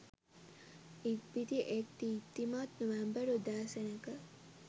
ඉක්බිති එක් දීප්තිමත් නොවැම්බර් උදෑසනක